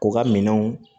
U ka minɛnw